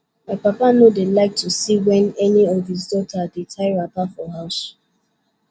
my papa no dey like to see wen any of his daughters dey tie wrapper for house